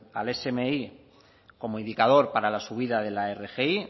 al smi como indicador para la subida de la rgi